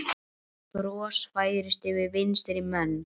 Bros færist yfir vinstri menn.